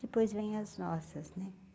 Depois vem as nossas, né?